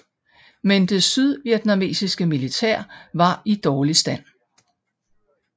Men det sydvietnamesiske militær var i dårlig stand